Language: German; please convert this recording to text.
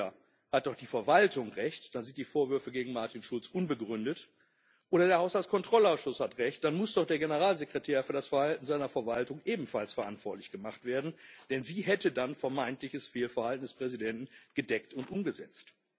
Denn entweder hat doch die Verwaltung Recht, dann sind die Vorwürfe gegen Martin Schulz unbegründet, oder der Haushaltskontrollausschuss hat Recht, dann muss doch der Generalsekretär für das Verhalten seiner Verwaltung ebenfalls verantwortlich gemacht werden, denn sie hätte dann vermeintliches Fehlverhalten des Präsidenten gedeckt und umgesetzt.